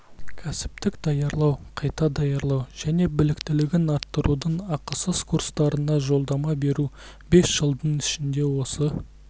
кәсіптік даярлау қайта даярлау және біліктілігін арттырудың ақысыз курстарына жолдама беру бес жылдың ішінде осы